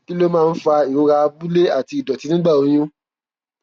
kí ló máa ń fa ìrora abúlé àti ìdòtí nígbà oyún